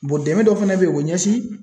Bɔn dɛmɛ dɔ fɛnɛ be yen o be ɲɛsin